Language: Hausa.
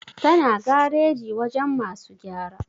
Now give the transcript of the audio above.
tana gareji wajen masu gyara